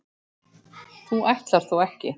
þú ætlar þó ekki.